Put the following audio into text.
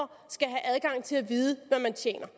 at til at vide hvad man tjener